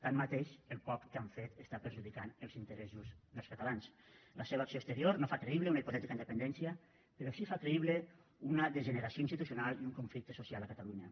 tanmateix el poc que han fet perjudica els interessos dels catalans la seva acció exterior no fa creïble una hipotètica independència però sí que fa creïble una degeneració institucional i un conflicte social a catalunya